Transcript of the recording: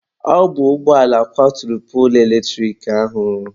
Ọ bụ ụgbọala kwaturu poolu eletrik ahụ.